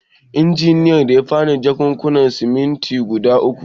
Injiniyan ya ba ni jakunkunan siminti guda uku.